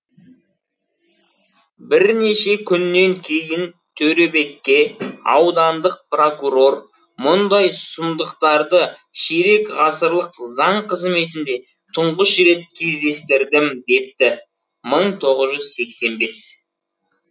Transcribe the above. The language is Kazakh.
бірнеше күннен кейін төребекке аудандық прокурор мұндай сұмдықтарды ширек ғасырлық заң қызметінде түңғыш рет кездестірдім депті мың тоғыз жүз сексен бес